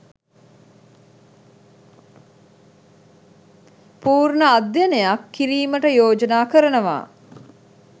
පූර්ණ අධ්‍යයනයක් කිරීමට යෝජනා කරනවා